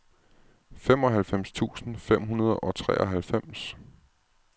femoghalvfems tusind fem hundrede og treoghalvfems